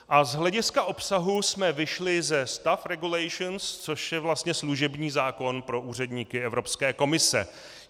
A z hlediska obsahu jsme vyšli ze staff regulations, což je vlastně služební zákon pro úředníky Evropské komise.